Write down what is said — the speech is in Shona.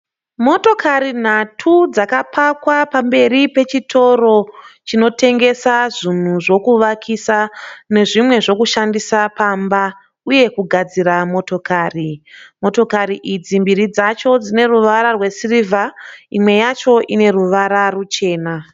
Motokari nhatu dzakapakwa pamberi pechitoro chinotengesa zvinhu zvekuvakisa nezvimwe zvekushandisa pamba uye kugadzira motokari. Motokari idzi mbiri dzacho dzine ruvara rwesirivha imwe yacho ine ruvara ruchena.